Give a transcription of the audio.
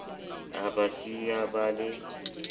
o ba siya ba le